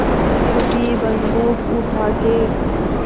फिर भी बन्दूक उठाके